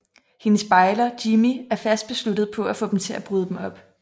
Hendes bejler Jimmie er fast besluttet på at få dem til at bryde dem op